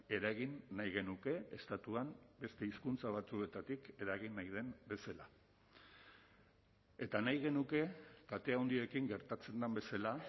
eragin nahi genuke estatuan beste hizkuntza batzuetatik eragin nahi den bezala eta nahi genuke kate handiekin gertatzen den bezala